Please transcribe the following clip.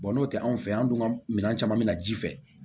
n'o tɛ anw fɛ yan an dun ka minɛn caman bɛ na ji fɛ